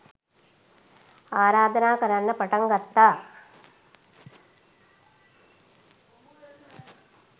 ආරාධනා කරන්න පටන් ගත්තා